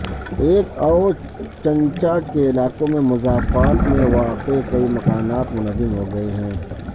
ایکا اور چنچا کے علاقوں کے مضافات میں واقع کئی مکانات منہدم ہو گئے ہیں